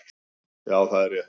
Já, það er rétt